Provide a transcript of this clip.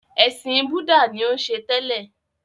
Ẹ̀sìn búdà ni ó ń ṣe tẹ́lẹ̀.